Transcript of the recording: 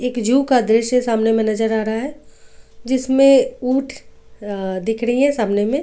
एक जू का दृश्य सामने में नजर आ रहा है जिसमें ऊंट दिख रही है सामने में.